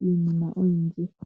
niinima oyindji.